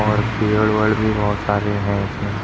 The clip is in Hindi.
और पेड़ वेड़ भी बोहोत सारे हैं इसमें।